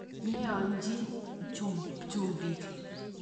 Neoechin chumbik.